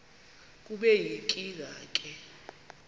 kube yinkinge ke